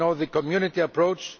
We know the community approach.